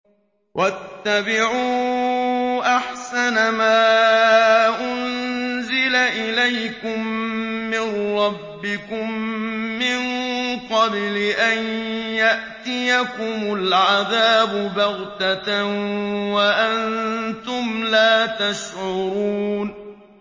وَاتَّبِعُوا أَحْسَنَ مَا أُنزِلَ إِلَيْكُم مِّن رَّبِّكُم مِّن قَبْلِ أَن يَأْتِيَكُمُ الْعَذَابُ بَغْتَةً وَأَنتُمْ لَا تَشْعُرُونَ